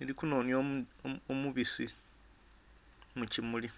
eri kunhonhya omubisi mukimuli